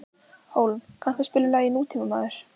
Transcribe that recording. Hólm, kanntu að spila lagið „Nútímamaður“?